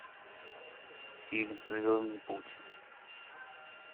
фильм звездный путь